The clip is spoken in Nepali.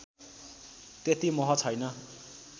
त्यति मोह छैन्